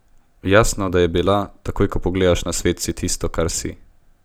Jasno, da je bila, takoj ko pogledaš na svet, si tisto, kar si.